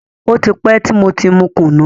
Ó ti pẹ́ tí mo ti mu kùnù